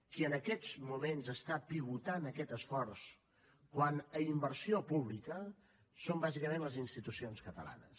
qui en aquests moments està pivotant aquest esforç quant a inversió pública són bàsicament les institucions catalanes